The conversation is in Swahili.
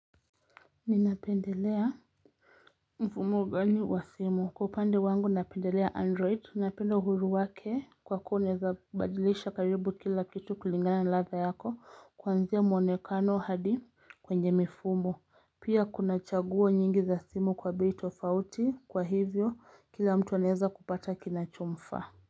Ninapendelea mfumo gani wa simu. Kwa upande wangu napendelea android. Ninapenda uhuru wake kwa kuwa unaweza badilisha karibu kila kitu kulingana ladha yako. Kuanzia mwonekano hadi kwenye mifumo. Pia kuna chaguo nyingi za simu kwa bei tofauti. Kwa hivyo kila mtu anaweza kupata kinachomfaa.